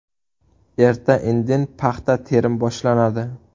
Erta-indin paxta terim boshlanadi.